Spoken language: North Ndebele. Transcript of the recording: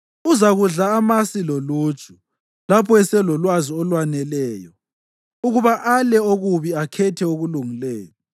Uzakudla amasi loluju lapho eselolwazi olwaneleyo ukuba ale okubi akhethe okulungileyo.